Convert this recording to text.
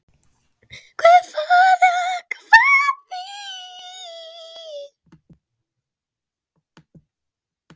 Guð forði okkur frá því.